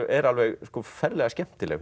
er alveg ferlega skemmtileg